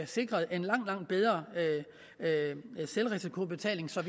sikret en langt langt bedre selvrisikoordning så